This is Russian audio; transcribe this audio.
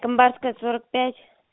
тамбарская сорок пять